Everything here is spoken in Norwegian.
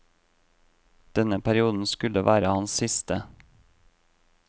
Denne perioden skulle være hans siste.